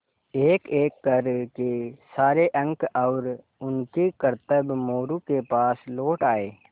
एकएक कर के सारे अंक और उनके करतब मोरू के पास लौट आये